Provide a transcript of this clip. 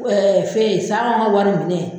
fɛ sango an ka wari minɛ.